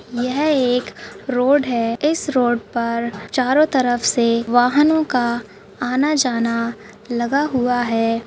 यह एक रोड है इस रोड पर चारों तरफ से वाहनों का आना-जाना लगा हुआ है।